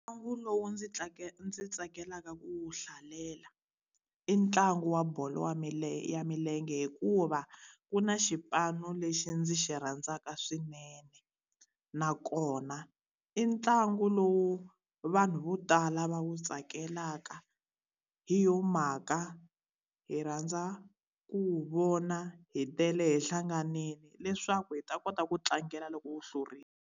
Ntlangu lowu ndzi ndzi tsakelaka ku wu hlalela, i ntlangu wa bolo ya ya milenge hikuva ku na xipano lexi ndzi xi rhandzaka swinene. Nakona i ntlangu lowu vanhu vo tala va wu tsakelaka, hi yona mhaka hi rhandza ku wu vona hi tele, hi hlanganile, leswaku hi ta kota ku tlangela loko wu hlurile.